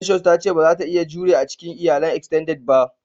"Precious" ta ce bazata iya jure a cikin iyalan "extended" ba.